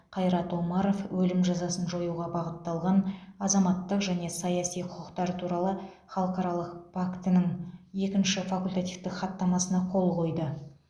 қайрат омаров өлім жазасын жоюға бағытталған азаматтық және саяси құқықтар туралы халықаралық пактінің екінші факультативтік хаттамасына қол қойды